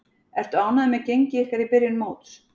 Ertu ánægður með gengi ykkar í byrjun móts?